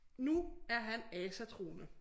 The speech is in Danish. Nu er han asatroende